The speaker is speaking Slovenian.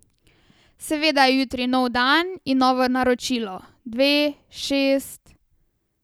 Seveda je jutri nov dan in novo naročilo, dve, šest ...